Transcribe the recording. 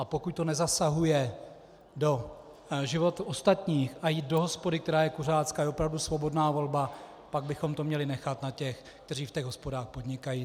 A pokud to nezasahuje do života ostatních a jít do hospody, která je kuřácká, je opravdu svobodná volba, tak bychom to měli nechat na těch, kteří v těch hospodách podnikají.